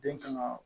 Den kan ka